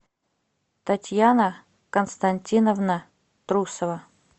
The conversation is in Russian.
татьяна константиновна трусова